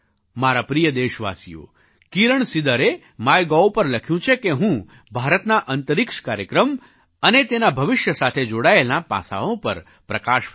મારા પ્રિય દેશવાસીઓ કિરણ સિદરે માયગોવ પર લખ્યું છે કે હું ભારતના અંતરિક્ષ કાર્યક્રમ અને તેના ભવિષ્ય સાથે જોડાયેલાં પાસાંઓ પર પ્રકાશ ફેંકું